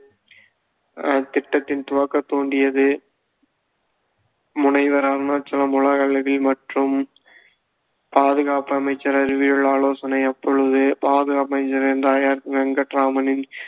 அஹ் திட்டத்தை துவக்க துண்டியது முனைவர் அருணாச்சலம், உலகளவில் மற்றும் பாதுகாப்பு அமைச்சர் அறிவியல் ஆலோசனை அப்பொழுது பாதுகாப்பு அமைச்சர் என்ற ஆர் வெங்கட்ராமனின்